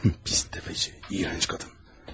Hım, pis dəfəçi, iyrənc qadın.